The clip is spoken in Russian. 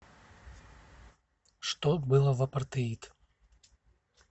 что было в апартеид